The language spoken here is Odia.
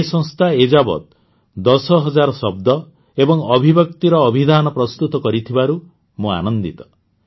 ଏହି ସଂସ୍ଥା ଏ ଯାବତ ଦଶ ହଜାର ଶବ୍ଦ ଏବଂ ଅଭିବ୍ୟକ୍ତିର ଅଭିଧାନ ପ୍ରସ୍ତୁତ କରିସାରିଥିବାରୁ ମୁଁ ଆନନ୍ଦିତ